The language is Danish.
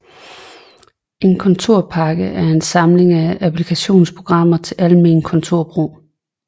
En kontorpakke er en samling applikationsprogrammer til almen kontorbrug